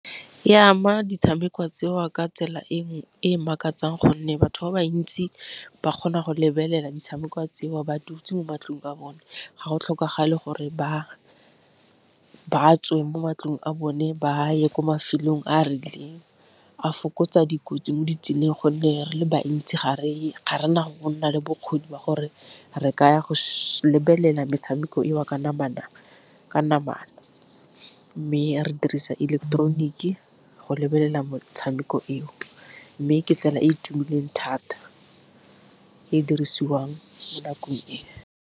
E ama ditshameko tseo ka tsela e makatsang gonne batho ba bantsi ba kgona go lebelela ditshameko tseo ba dutse mo matlong a bone ga go tlhokagale gore ba tswe mo matlong a bone ba a ye kwa mafelong a a rileng. A fokotsa dikotsi mo ditseleng gonne re le bantsi gareng ga rena go nna le bokgoni ba gore re ka ya go lebelela metshameko eo ka namana, mme re dirisa ileketeroniki go lebelela motshameko eo. Mme ke tsela e e tumileng thata e dirisiwang mo nakong e.